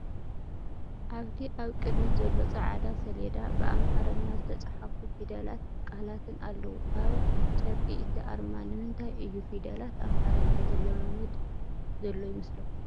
ኣብቲ ኣብ ቅድሚት ዘሎ ጻዕዳ ሰሌዳ ብኣምሓርኛ ዝተጻሕፉ ፊደላትን ቃላትን ኣለዉ። ኣብ ጨርቂ እቲ ኣርማ ንምንታይ እዩ ፊደላት ኣምሓርኛ ዝለማመድ ዘሎ ይመስለኩም?